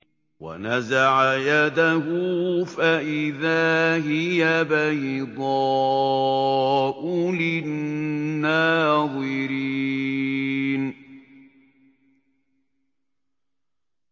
وَنَزَعَ يَدَهُ فَإِذَا هِيَ بَيْضَاءُ لِلنَّاظِرِينَ